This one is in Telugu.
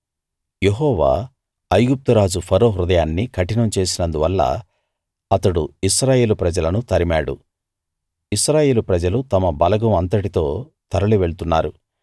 యెహోవా ఐగుప్తు రాజు ఫరో హృదయాన్ని కఠినం చేసినందువల్ల అతడు ఇశ్రాయేలు ప్రజలను తరిమాడు ఇశ్రాయేలు ప్రజలు తమ బలగం అంతటితో తరలి వెళ్తున్నారు